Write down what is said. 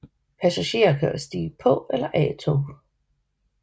Passagerer kan stige på eller af tog